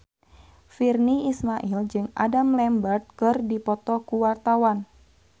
Virnie Ismail jeung Adam Lambert keur dipoto ku wartawan